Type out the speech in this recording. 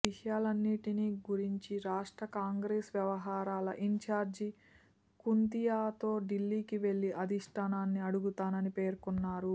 ఈ విషయాలన్నింటిని గురించి రాష్ట్ర కాంగ్రెస్ వ్యవహారాల ఇన్ఛార్జి కుంతీయాతో ఢిల్లీకి వెళ్లి అధిష్ఠానాన్ని అడుగుతానని పేర్కొన్నారు